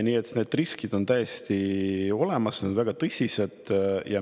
Nii et need riskid on täiesti olemas ja need on väga tõsised.